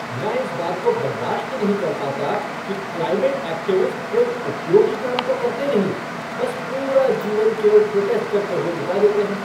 मैं इस बात को बर्दाश्त नहीं कर पाता कि क्लाइमेट एक्टिविस्ट कोई उपयोगी काम तो करते नहीं, बस पूरा जीवन केवल प्रोटेस्ट करते हुए बिता देते हैं।